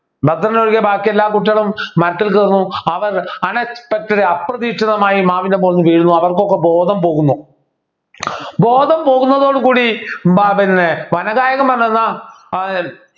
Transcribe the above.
ഭദ്രൻ ഒഴികെ ബാക്കി എല്ലാ കുട്ടികളും മരത്തിൽ കയറുന്നു അവർ unexpected അപ്രതീക്ഷിതമായി മാവിൻ്റെ മോളിൽന്നു വീഴുന്നു അവർക്കൊക്കെ ബോധം പോകുന്നു ബോധം പോകുന്നതോടുകൂടി വനഗായകൻ വന്നു ഏർ